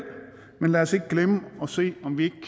men lad os ikke glemme at se om vi